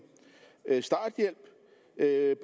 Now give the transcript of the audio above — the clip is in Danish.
af